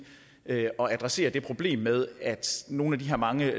at adressere det problem med at nogle af de her mange